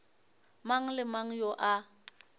mang le mang yo a